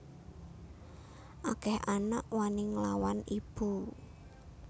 Akeh anak wani nglawan ibu